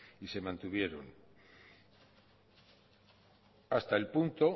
y se mantuvieron hasta el punto